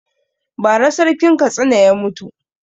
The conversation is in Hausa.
Ba ra Sarkin Katsina ya mutu